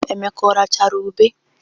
Emeka ọ rachara ube?